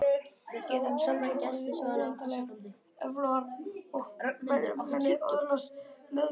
Geta tölvur orðið óendanlegar öflugar og vélmenni öðlast meðvitund?